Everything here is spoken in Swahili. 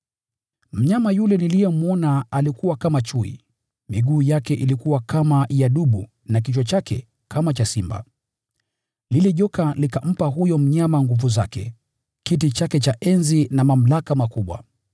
Mnyama yule niliyemwona alifanana na chui, lakini miguu yake ilikuwa kama ya dubu na kichwa chake kama cha simba. Lile joka likampa huyo mnyama nguvu zake, kiti chake cha enzi na mamlaka makubwa.